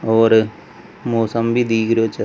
और मौसम भी दिख रहियो छ।